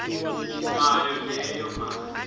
nayo leyo mali